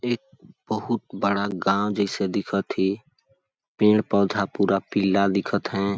एक बहुत बड़ा गाँव जैसे दिखत हे पेड़-पौधा पूरा पीला दिखत है।